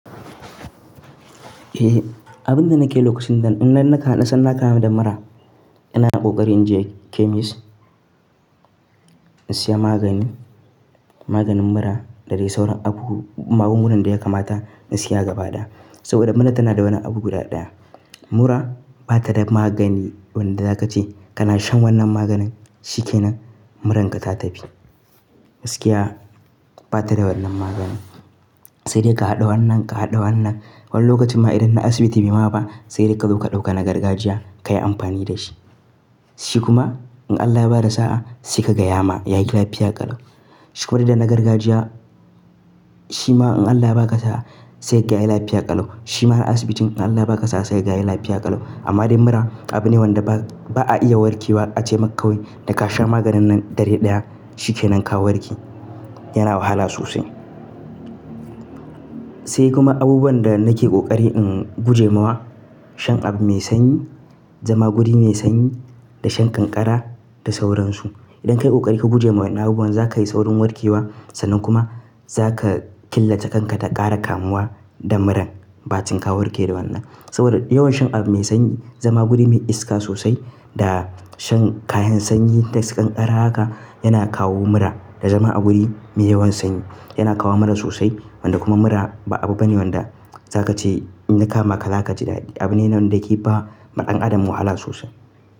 Eh, abinda nake lokacin nan idan na kaɗa sanda na kama da mura ina ƙoƙari in je chemist in siya maganin, maganin mura da dai sauran abu, magungunan da ya kamata in siya gaba ɗaya. Saboda mura tana da wani abu guda ɗaya. Mura bata da magani wanda za ka ce kana shan wannan maganin shikenan muranka ta tafi. Gaskiya bata da wannan maganin. Sai dai ka haɗa wannan, ka haɗa wannan. Wani lokacin ma idan na asibiti bai ma ba sai dai ka zo ka ɗauka na gargajiya ka yi amfani da shi. Shi kuma in Allah ya bada sa'a sai ka gaya ma yayi lafiya ƙalau. Saboda da nagargajiya shima in Allah ya ba ka sa'aa sai ka ga ya yi lafiya ƙalau. Shima na asibitin in Allah ya ba ka sa'a sai ka ga ya yi lafiya ƙalau. Amma dai mura abu ne wanda ba a iya warke wa ace ma kawai da ka sha maganin nan dare ɗaya shikenan ka warke. Yana wahala sosai. Sai kuma abubuwan da nake ƙoƙari in guje mawa shan abu mai sanyi, zama wuri mai sanyi da shan ƙanƙara da sauransu. Idan ka yi ƙoƙari ka guje wa wannan abubuwan za ka yi saurin warke wa sannan kuma za ka killace kanka daga ƙara kamuwa da muran. Ba cin ka warke da wannan. Saboda yawan shan abu mai sanyi, zama wuri mai iska sosai da shan kayan sanyi da su ƙanƙara haka yana kawo mura. Da zama a wuri mai yawan sanyi yana kawo mura sosai. Wanda kuma mura ba abu bane wanda za ka ce in ya kama ka za ka ji daɗi. Abu ne wanda ke ba ma ɗan adam wahala sosai.